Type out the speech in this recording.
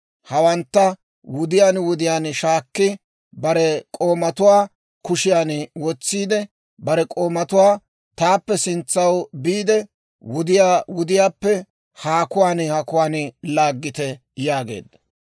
Hawantta wudiyaan wudiyaan shaakki, bare k'oomatuwaa kushiyaan wotsiide, bare k'oomatuwaa, «Taappe sintsaw biide, wudiyaa wudiyaappe haakuwaan haakuwaan laaggite» yaageedda.